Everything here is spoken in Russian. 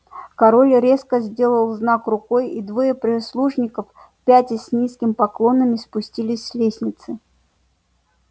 король резко сделал знак рукой и двое прислужников пятясь с низкими поклонами спустились с лестницы